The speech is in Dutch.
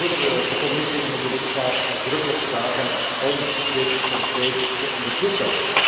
Daarin zullen we de Commissie en ook de lidstaten uitdrukkelijk vragen om dit concreet te onderzoeken.